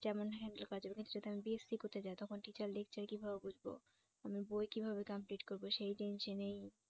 যেমন কাজের ক্ষেত্রে আমি BSC করতে যাই তখন teacher lecture কিভাবে বুঝব আমি বই কিভাবে complete করব সেই tension এই